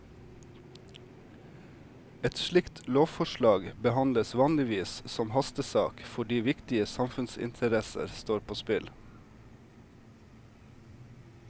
Et slikt lovforslag behandles vanligvis som hastesak fordi viktige samfunnsinteresser står på spill.